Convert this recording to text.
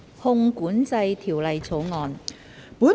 《汞管制條例草案》。